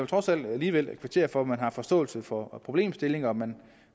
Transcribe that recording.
trods alt alligevel kvittere for at man har forståelse for problemstillingen og at man